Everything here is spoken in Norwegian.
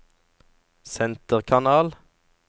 senterkanal